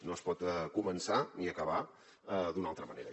no es pot començar ni acabar d’una altra manera